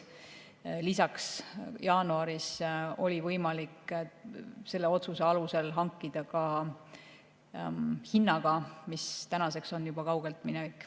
Lisaks oli jaanuaris võimalik selle otsuse alusel hankida ka hinnaga, mis tänaseks on juba kauge minevik.